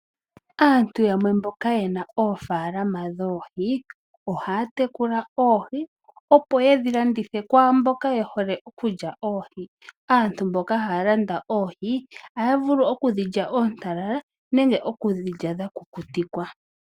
Aantu yamwe mboka ye na oofaalama dhoohi ohaya tekula oohi opo ye dhi landithe kwaa mboka ye hole okulya oohi. Aantu mboka haya landitha oohi ohaya vulu oku dhi lya oontalala nenge okudhi lya dha kukutikwa.